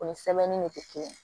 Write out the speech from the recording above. O ni sɛbɛnni de tɛ kelen ye